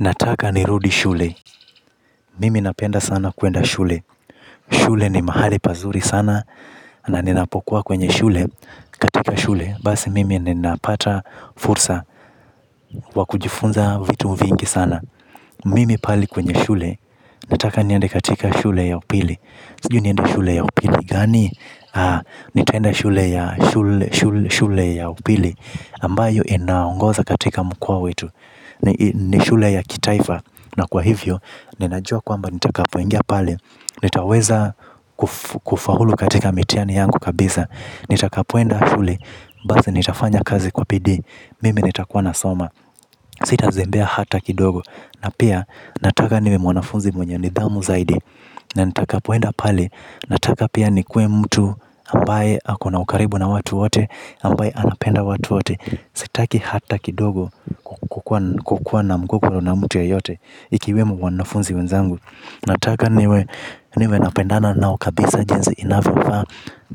Nataka nirudi shule. Mimi napenda sana kuenda shule. Shule ni mahali pazuri sana na ninapokuwa kwenye shule katika shule. Basi mimi ninapata fursa wakujifunza vitu vingi sana. Mimi pali kwenye shule. Nataka nyende katika shule ya upili. Sijui nienda shule ya upili gani nitaenda shule ya upili ambayo inaongoza katika mkoa wetu. Ni shule ya kitaifa. Na kwa hivyo, ninajua kwamba nita kapoingia pale. Nitaweza kufaulu katika mitiani yangu kabisa. Nita kapuenda shule. Basi nitafanya kazi kwa pidi. Mimi nita kuwa nasoma. Sita zembea hata kidogo. Na pia, nataka niwe mwanafunzi mwenye nidhamu zaidi na nitakapo enda pale nataka pia nikuwe mtu ambaye aku na ukaribu na watu wote ambaye anapenda watu wote sitaki hata kidogo kuwa na mgogoro na mtu yeyote ikiwemu wanafunzi wenzangu na taka niwe napendana nao kabisa jinsi inavyofaa.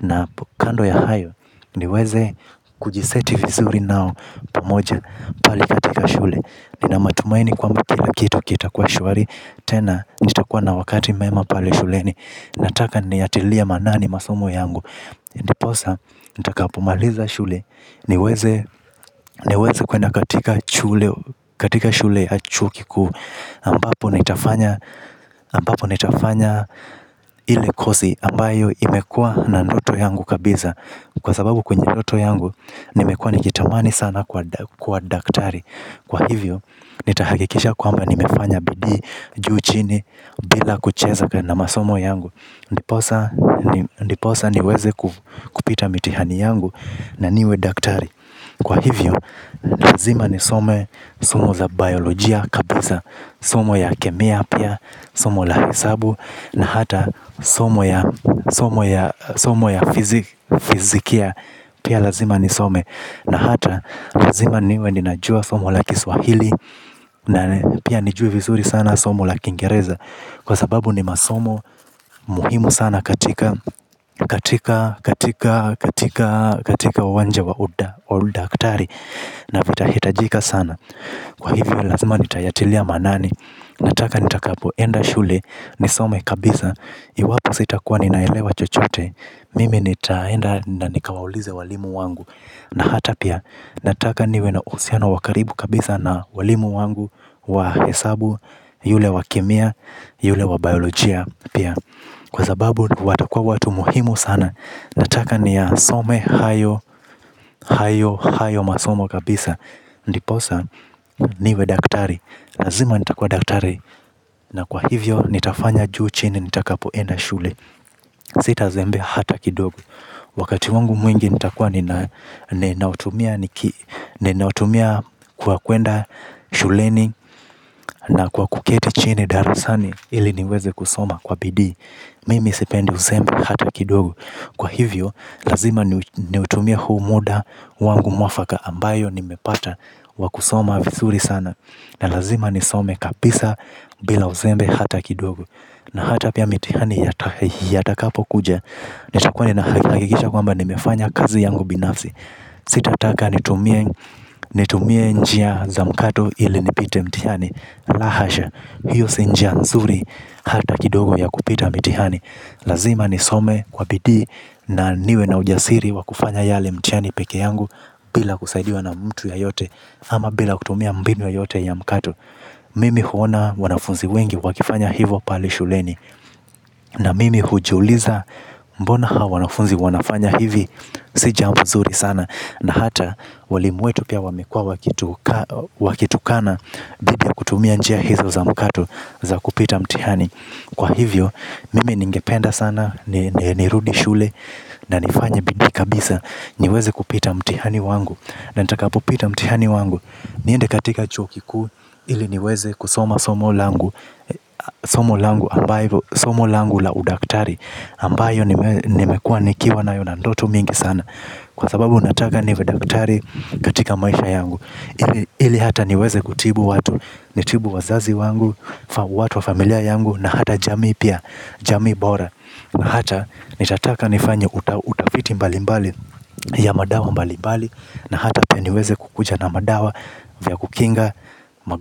Na kando ya hayo. Niweze kujiseti vizuri nao pamoja pale katika shule. Nina matumaini kwamba kila kitu kita kwa shuari. Tena nitakuwa na wakati mema pale shuleni. Nataka niyatilia manani masomo yangu. Niposa nitakapumaliza shule. Niweze kwena katika shule ya chuo kikuu ambapo nitafanya ili kosi ambayo imekua na ndoto yangu kabisa. Kwa sababu kwenye ndoto yangu nimekua nikitamani sana kwa daktari. Kwa hivyo, nitahakikisha kwamba nimefanya bidii juu chini bila kucheza na masomo yangu. Ndiposa niweze kupita mitihani yangu na niwe daktari. Kwa hivyo, lazima ni some, somo za biolojia kabisa. Somo ya kemia pia, somo la hesabu na hata somo ya fizikia pia lazima ni some. Na hata, lazima niwe ninajua somo la kiswahili. Na pia nijue visuri sana somo laki ingereza. Kwa sababu ni masomo muhimu sana katika katika, katika, katika, katika uwanja wa uda, wa udaktari. Na vitahitajika sana. Kwa hivyo lazima nitayatilia manani. Nataka nitakapo enda shule, nisome kabisa. Iwapo sitakua ninaelewa chochote. Mimi nitaenda na nikawaulize walimu wangu. Na hata pia nataka niwe na uhusiano wakaribu kabisa na walimu wangu wa hesabu yule wa kemia yule wabiolojia pia. Kwa sababu watakua watu muhimu sana nataka niyasome hayo hayo hayo masomo kabisa. Ndiposa niwe daktari lazima nitakua daktari na kwa hivyo nitafanya juu chini nitakapoenda shule. Sitazembea hata kidogo wakati wangu mwingi nitakuwa ninautumia ninautumia kwa kwenda shuleni na kuketi chini darasani ili niweze kusoma kwa bidii. Mimi isependi uzembe hata kidogo. Kwa hivyo lazima niutumie huu muda wangu mwafaka ambayo nimepata wakusoma vizuri sana. Na lazima nisome kabisa bila uzembe hata kidogo na hata pia mitihani yatakapo kuja. Nitakuwa nina hakikisha kwamba nimefanya kazi yangu binafsi. Sitataka nitumie njia za mkato ili nipite mitihani. La hasha, hiyo si njia nzuri hata kidogo ya kupita mitihani. Lazima ni some kwa bidii na niwe na ujasiri wakufanya yale mitihani peke yangu. Bila kusaidiwa na mtu ya yote ama bila kutumia mbinu yoyote ya mkato mimi huona wanafunzi wengi wakifanya hivo pale shuleni. Na mimi hujiuliza mbona hawa wanafunzi wanafanya hivi. Sijambo zuri sana. Na hata walimu wetu pia wamekua wakitukana dhidi ya kutimia njia hizo za mkato ili kupita mtiani ndio sana. Nirudi shule na nifanya bidii kabisa. Niweze kupita mtihani wangu. Na nitakapo pita mtihani wangu. Niende katika chuo kikuu ili niweze kusoma somo langu la udaktari ambayo nimekua nikiwa nayo na ndoto mingi sana. Kwa sababu unataka niwe daktari katika maisha yangu. Ili hata niweze kutibu watu. Nitibu wazazi wangu, watu wa familia yangu na hata jamii pia, jamii bora. Hata nitataka nifanye utafiti mbali mbali ya madawa mbali mbali. Na hata pia niweze kukuja na madawa vya kukinga magonjwa.